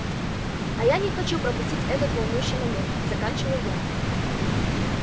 а я не хочу пропустить этот волнующий момент заканчиваю я